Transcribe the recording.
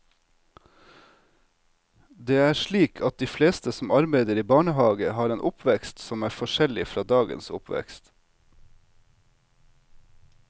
Det er slik at de fleste som arbeider i barnehage har en oppvekst som er forskjellig fra dagens oppvekst.